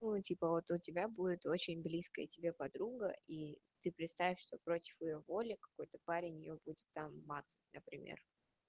о типа вот у тебя будет очень близкая тебе подруга и ты представь что против её воли какой-то парень её будет там мацать на например